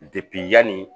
yanni